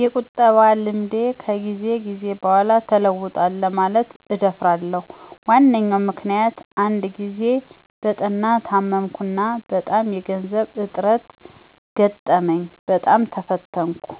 የቁጠባ ልምዴ ከጊዜ ጊዜ በኋላ ተለውጣል ለማለት እደፍራለሁ። ዋነኛው ምክንያት አንድ ጊዜ በጠና ታመምኩና በጣም የገንዘብ እጥረት ገጠመኝ፣ በጣም ተፈተንኩ፥